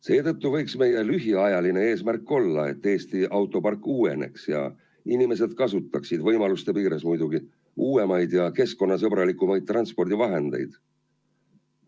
Seetõttu võiks meie lühiajaline eesmärk olla, et Eesti autopark uueneks ja inimesed kasutaksid – võimaluste piires muidugi – uuemaid ja keskkonnasõbralikumaid transpordivahendeid.